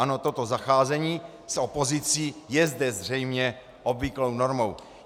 Ano, toto zacházení s opozicí je zde zřejmě obvyklou normou.